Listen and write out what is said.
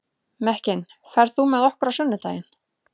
Mekkin, ferð þú með okkur á sunnudaginn?